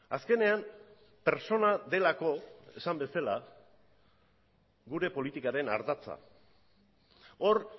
azkenean pertsona delako esan bezala gure politikaren ardatza hor